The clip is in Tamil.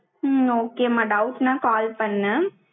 உம் okay மா doubts ன call பண்ணு